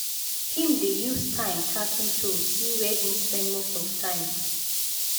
him dey use time tracking tools see where him spend most of spend most of him time.